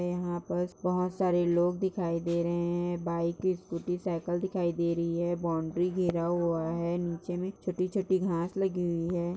यहाँ पास बहुत सारे लोग दिखाई दे रहे है बाइक स्कूटी साइकिल दिखाई दे रही है बॉउंड्री घिरा हुआ है निचे नीचे में छोटी छोटी घांस लगी हुई है।